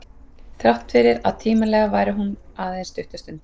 Þrátt fyrir að tímalega vari hún aðeins stutta stund.